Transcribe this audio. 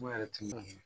Mun yɛrɛ tun ye